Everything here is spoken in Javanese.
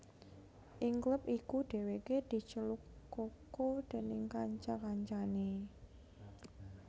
Ing klub iku Dèwèké diceluk Coco déning kanca kancané